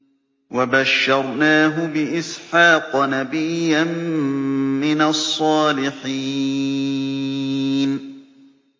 وَبَشَّرْنَاهُ بِإِسْحَاقَ نَبِيًّا مِّنَ الصَّالِحِينَ